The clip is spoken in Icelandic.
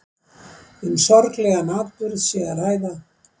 Um sorglegan atburð sé að ræða